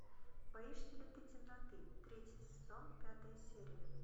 боишься ли ты темноты третий сезон пятая серия